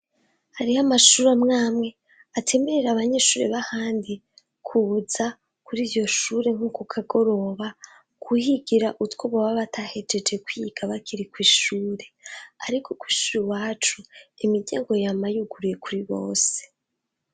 Hariho amashure amwamwe atemerera abanyeshure b'ahandi kuza kuriryo shure nko kukagoroba kuhigira utwo baba batahejeje kwiga bakiri kw'ishure, ariko kw'ishure iwacu imiryango yama yuguruye kuri bose.